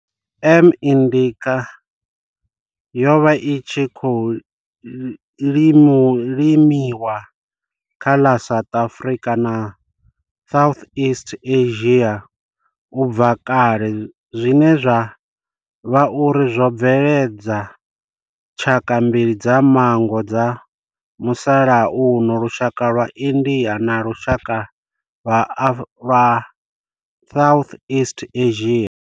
M. indica yo vha i tshi khou limiwa kha ḽa South Afrika na Southeast Asia ubva kale zwine zwa vha uri zwo bveledza tshaka mbili dza manngo dza musalauno lushaka lwa India na lushaka lwa Southeast Asia.